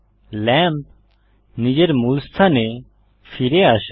lamp নিজের মূল স্থানে ফিরে আসে